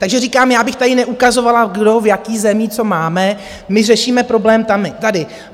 Takže říkám, já bych tady neukazovala, kdo v jaké zemi co máme, my řešíme problém tady.